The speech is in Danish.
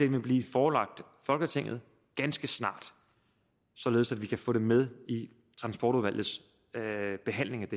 vil blive forelagt folketinget ganske snart således at vi kan få det med i transportudvalgets behandling af